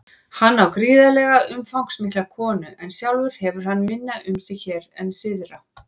Hann á gríðarlega umfangsmikla konu en sjálfur hefur hann minna um sig hér en syðra.